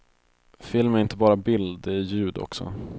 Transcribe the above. Film är inte bara bild, det är ljud också.